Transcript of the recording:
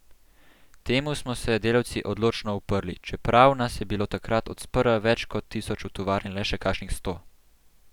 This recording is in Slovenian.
Temu smo se delavci odločno uprli, čeprav nas je bilo takrat od sprva več kot tisoč v tovarni le še kakšnih sto.